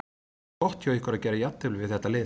Það var gott hjá ykkur að gera jafntefli við þetta lið.